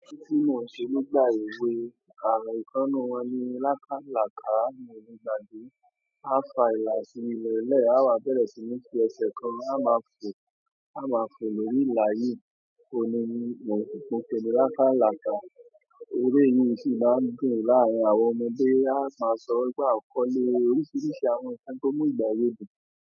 Ẹre tí n mo n ṣe nígbà èwe à ikan nínú wọn ni lákálàká mi o le gbàgbé. A fa ìlà sínú ilé lẹ́ẹ̀, á wá bẹ̀rẹ̀ sí ní fi ẹsẹ̀ kan a máa fò, a máa fò lórí ìlà yìí. Óun ni mo pe ni lákálàká. Ere yìí sì máa ń dùn láàárín àwọn ọmọdé. A máa sọ wípé àkọ́lé oríṣiríṣi àwọn nkan tí ó ń mu ìgbà ewé dùn.